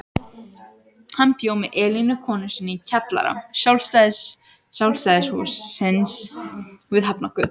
Hann bjó með Elínu konu sinni í kjallara Sjálfstæðishússins við Hafnargötu.